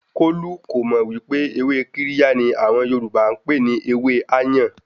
Kolu kò mọ̀ wípé ewé Kirya ni àwọn Yorùbá n pè ní ewẹ́ "áyàn".